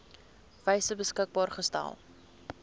wyse beskikbaar gestel